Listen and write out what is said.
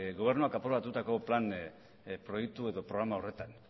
gobernuak aprobatutako plan proiektu edo programa horretan